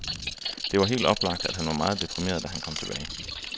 Det var helt oplagt, at han var meget deprimeret, da han kom tilbage.